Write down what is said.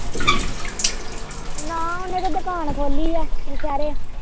ਨਾ ਉਹਨੇ ਤੇ ਦੁਕਾਨ ਖੋਲੀ ਏ ਨੋਸਿਹਰੇ।